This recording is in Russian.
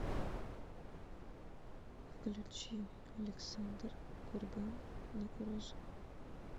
включи александр курган на кураже